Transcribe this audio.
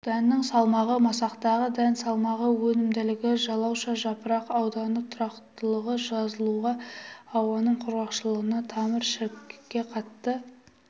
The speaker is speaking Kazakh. дәннің салмағы масақтағы дән салмағы өнімділігі жалауша жапырақ ауданы тұрақтылығы жығылуға ауаның құрғақшылығына тамыр шірікке қатты